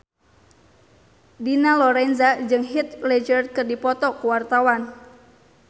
Dina Lorenza jeung Heath Ledger keur dipoto ku wartawan